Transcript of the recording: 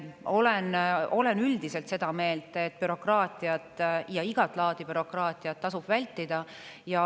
Olen üldiselt seda meelt, et bürokraatiat, igat laadi bürokraatiat, tasub vältida.